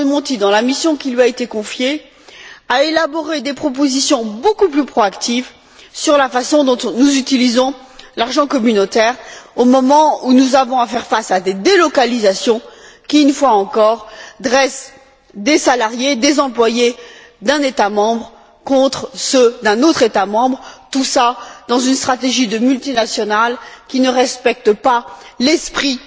Mario Monti, dans la mission qui lui a été confiée, à élaborer des propositions beaucoup plus proactives sur la façon dont nous utilisons l'argent communautaire au moment où nous avons à faire face à des délocalisations qui, une fois encore, dressent des salariés, des employés d'un État membre contre ceux d'un autre État membre, tout cela dans une stratégie de multinationale qui ne respecte pas l'esprit